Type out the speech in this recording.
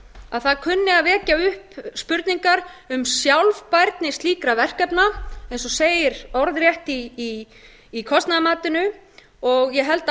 að það kunni að vekja upp spurningar um sjálfbærni slíkra verkefna eins og segir orðrétt í kostnaðarmatinu og ég held